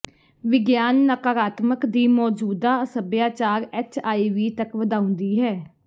ਵਿਗਿਆਨ ਨਕਾਰਾਤਮਕ ਦੀ ਮੌਜੂਦਾ ਸਭਿਆਚਾਰ ਐੱਚਆਈਵੀ ਤੱਕ ਵਧਾਉਂਦੀ ਹੈ